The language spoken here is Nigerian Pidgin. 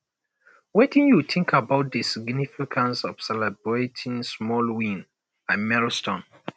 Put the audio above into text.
wetin you think about di significance of celebrating small wins and milestones